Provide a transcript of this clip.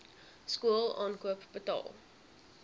skool aankoop betaal